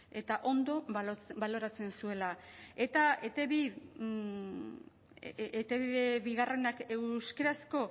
eta ondo baloratzen zuela eta etb biak euskarazko